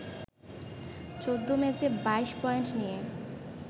১৪ ম্যাচে ২২ পয়েন্ট নিয়ে